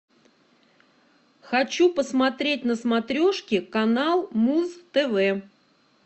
хочу посмотреть на смотрешке канал муз тв